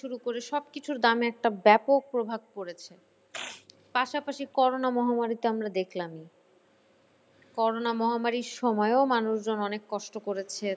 শুরু করে সব কিছুর দামে একটা ব্যাপক প্রভাব পড়েছে। পাশাপাশি corona মহামারী তো আমরা দেখালামই। corona মহামারীর সময়ও মানুষজন অনেক কষ্ট করেছে ।